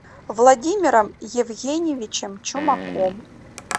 владимиром евгеньевичем чумаком